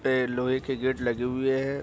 पे लोहे के गेट लगे हुए हैं।